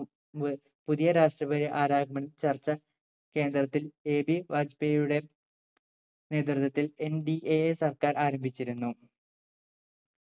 മുമ്പ് പുതിയ രാഷ്‌ട്രപതി R രാമൻ ചർച്ച കേന്ദ്രത്തിൽ AB ബാജ്‌പേയ്‌ യുടെ നേതൃത്വത്തിൽ NDA സർക്കാർ ആരംഭിച്ചിരുന്നു